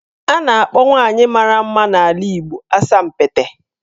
A na-akpọ nwaanyị mara mma n'ala Igbo 'Asampete'.